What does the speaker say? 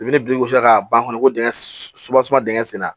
I bɛ ni dugumasi k'a ban fɔlɔ ko dingɛ dingɛ senna